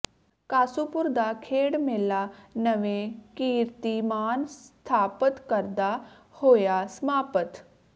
ਕਾਸੂਪੁਰ ਦਾ ਖੇਡ ਮੇਲਾ ਨਵੇਂ ਕੀਰਤੀਮਾਨ ਸਥਾਪਤ ਕਰਦਾ ਹੋਇਆ ਸਮਾਪਤ